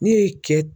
Ne ye cɛ